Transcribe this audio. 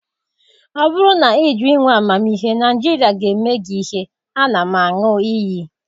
Ọ bụrụ na ị jụ inwe amamihe, Nigeria ga-eme gị ihe, a na m aṅụ iyi.